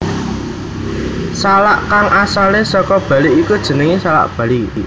Salak kang asalé saka Bali iki jenengé salak Bali